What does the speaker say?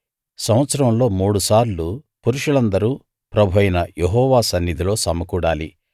సంవత్సరంలో మూడు సార్లు పురుషులందరూ ప్రభువైన యెహోవా సన్నిధిలో సమకూడాలి